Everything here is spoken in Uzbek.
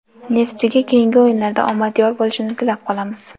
"Neftchi"ga keyingi o‘yinlarda omad yor bo‘lishini tilab qolamiz!.